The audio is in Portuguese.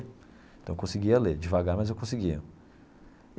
Então, eu conseguia ler devagar, mas eu conseguia.